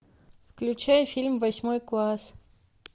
включай фильм восьмой класс